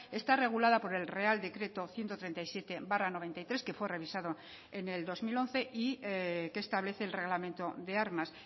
está regulada por el real decreto ciento treinta y siete barra noventa y tres que fue revisado en el dos mil once y que establece el reglamento de armas